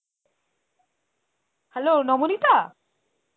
hello Nabanita?